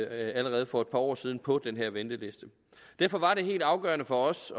allerede for et par år siden kom på den her venteliste derfor var det helt afgørende for os